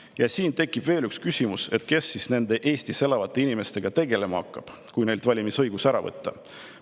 Ja siin tekib veel üks küsimus, et kes siis nende Eestis elavate inimestega tegelema hakkab, kui neilt valimisõigus ära võtta.